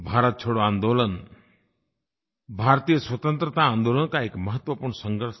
भारत छोड़ो आन्दोलन भारतीय स्वतंत्रता आन्दोलन का एक महत्वपूर्ण संघर्ष था